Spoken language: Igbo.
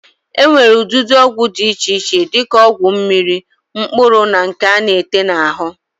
E nwere ụdịdị ọgwụ di iche iche di ka ọgwụ mmiri, mkpụrụ na nke a na-ete n'ahụ.